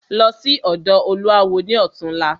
Lọ sí ọ̀dọ̀ olúawo ni ọ̀túnla!